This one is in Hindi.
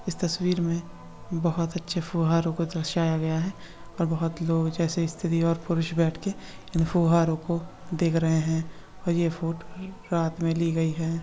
इस तस्वीर में बहुत अच्छे फुहारों को दर्शाया गया है और बहुत लोग जैसे स्त्री और पुरुष बैठकर इन फुहारों को देख रहे हैं और यह फोटो रात में ली गई है।